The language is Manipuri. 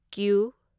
ꯀ꯭ꯌꯨ